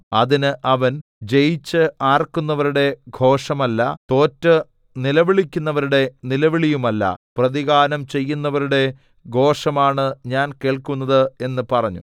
അതിന് അവൻ ജയിച്ച് ആർക്കുന്നവരുടെ ഘോഷമല്ല തോറ്റ് നിലവിളിക്കുന്നവരുടെ നിലവിളിയുമല്ല പ്രതിഗാനം ചെയ്യുന്നവരുടെ ഘോഷമാണ് ഞാൻ കേൾക്കുന്നത് എന്ന് പറഞ്ഞു